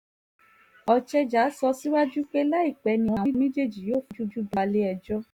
ochejà sọ síwájú pé láìpẹ́ ni àwọn méjèèjì yóò fojú balẹ̀-ẹjọ́